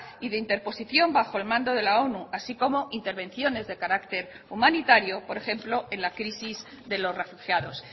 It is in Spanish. y de interposición bajo el mando de la onu así como intervenciones de carácter humanitario por ejemplo en la crisis de los refugiados